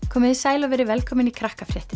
komiði sæl og verið velkomin í